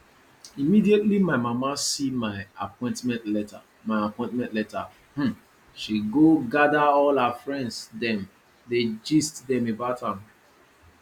immediately my mama see my appointment letter my appointment letter um she go gather all her friends dem dey gist dem about am